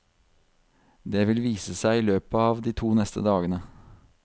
Det vil vise seg i løpet av de to neste dagene.